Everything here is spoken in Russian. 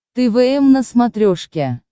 твм на смотрешке